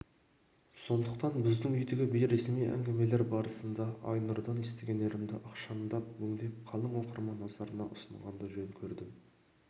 сондықтан біздің үйдегі бейресми әңгімелер барысында айнұрдан естігендерімді ықшамдап өңдеп қалың оқырман назарына ұсынғанды жөн көрдім